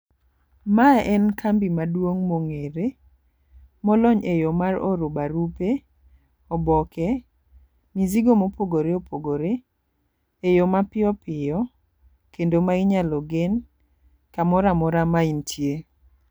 Mae en kambi maduong' mong'ere, molony e yo mar ioro barupe, oboke, mizigo mopogore opogore e yo mapiyopiyo kendo ma inyalo gen kamoro amora mintie.